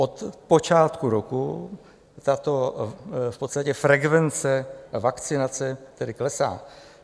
Od počátku roku tato v podstatě frekvence vakcinace tedy klesá.